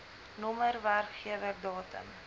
nr werkgewer datum